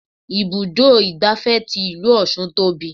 Ibùdó igbàfẹ́ tí ìlú ọ̀ṣun tóbi.